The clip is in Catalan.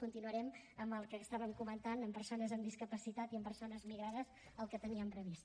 continuarem amb el que estàvem comentant amb persones amb discapacitat i amb persones migrades el que teníem previst